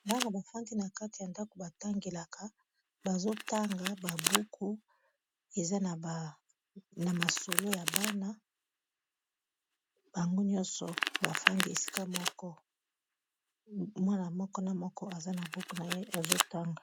gana bafandi na kati ya ndako batangelaka bazo tanga babuku eza na masolo ya bana bango nyonso bafandi esika moko mwana moko na moko aza na buku na ye azotanga